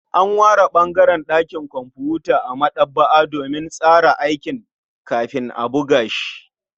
An ware ɓangaren ɗakin kumfuta a maɗaba'a domin tsara aiki kafin a buga shi.